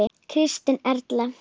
Kristín Erla.